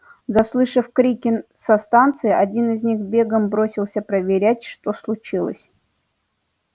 заслышав крики со станции один из них бегом бросился проверять что случилось